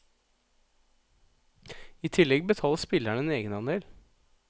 I tillegg betaler spillerne en egenandel.